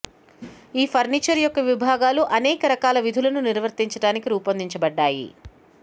ఈ ఫర్నిచర్ యొక్క విభాగాలు అనేక రకాల విధులను నిర్వర్తించటానికి రూపొందించబడ్డాయి